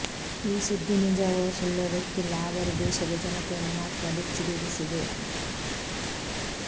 ಈ ಸುದ್ದಿ ನಿಜವೋ ಸುಳ್ಳೋ ಗೊತ್ತಿಲ್ಲ ಆದರೆ ದೇಶದ ಜನತೆಯನ್ನು ಮಾತ್ರ ಬೆಚ್ಚಿ ಬೀಳಿಸಿದೆ